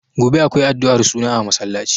Gobe akwai addu'ar suna a masallaci.